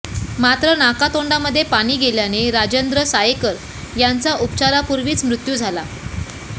मात्र नाका तोंडामध्ये पाणी गेल्याने राजेंद्र सायेकर यांचा उपचारापूर्वीच मृत्यू झाला